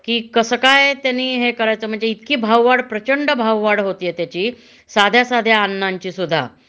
कि कसं काय त्यांनी हे करायचं म्हणजे इतके भाव वाढ प्रचंड भाव वाढ होतीये त्याची साध्या साध्या अन्नांची सुद्धा